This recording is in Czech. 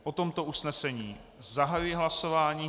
O tomto usnesení zahajuji hlasování.